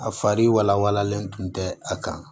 A fari walalen tun tɛ a kan